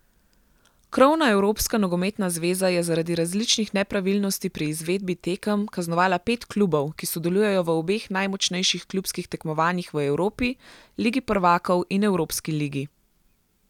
Krovna evropska nogometna zveza je zaradi različnih nepravilnosti pri izvedbi tekem kaznovala pet klubov, ki sodelujejo v obeh najmočnejših klubskih tekmovanjih v Evropi, ligi prvakov in evropski ligi.